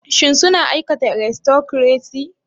Shin suna aikata aristocracy?